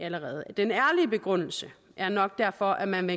den ærlige begrundelse er nok derfor at man